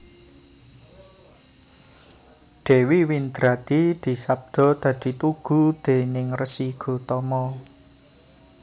Dewi Windradi disabda dadi tugu déning Resi Gotama